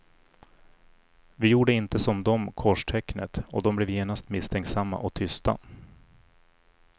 Vi gjorde inte som de korstecknet och de blev genast misstänksamma och tysta.